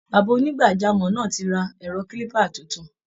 Bàbá onígbàjámọ̀ náà ti ra ẹ̀rọ kílíbà tuntun